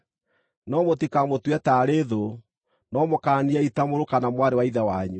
No mũtikamũtue taarĩ thũ, no mũkaaniei ta mũrũ kana mwarĩ wa Ithe wanyu.